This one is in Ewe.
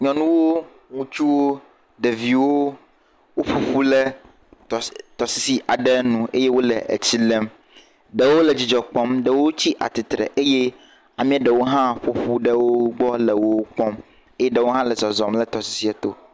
Nyɔnuwo, ŋutsuwo, ɖeviwo woƒu ƒu ɖe tɔsisi aɖe nu eye wole tsi lém. Ɖewo le dzidzɔ kpɔm, ɖewo tsi tsitre eye amea ɖewo hã ƒo ƒu ɖe wo gbɔ le wo kpɔm eye ɖewo hã le zɔzɔm le tɔsisia to.